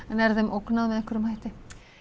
en er þeim ógnað með einhverjum hætti